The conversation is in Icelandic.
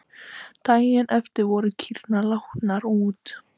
Daginn eftir voru kýrnar látnar út.